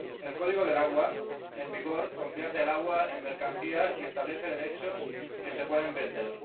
El código del agua en vigor convierte el agua en mercancía y establece derechos que se pueden vender.